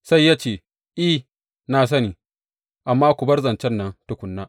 Sai ya ce, I, na sani, amma ku bar zancen nan tukuna.